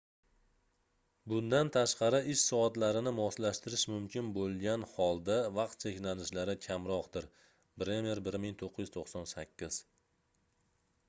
bundan tashqari ish soatlarini moslashtirish mumkin bo'lgani holda vaqt cheklanishlari kamroqdir. bremer 1998